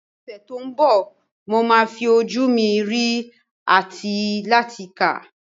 Ní ọ̀sẹ̀ tó ń bọ̀, mo máa fi ojú mi rí àti láti kà.